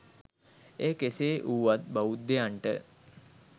එය කෙසේ වුවත් බෞද්ධයන්ට